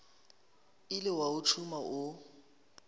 ile wa o tšhuma o